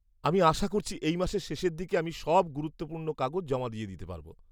আমি আশা করছি এই মাসের শেষের দিকে আমি সব গুরুত্বপূর্ণ কাগজ জমা দিয়ে দিতে পারব।